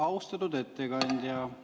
Austatud ettekandja!